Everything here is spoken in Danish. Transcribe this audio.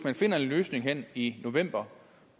der findes en løsning hen i november